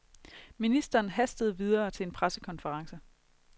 Ministeren hastede videre til en pressekonference.